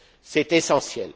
C'est essentiel.